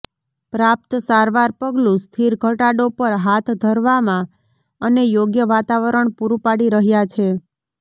પ્રાપ્ત સારવાર પગલું સ્થિર ઘટાડો પર હાથ ધરવામાં અને યોગ્ય વાતાવરણ પૂરૂં પાડી રહ્યાં છે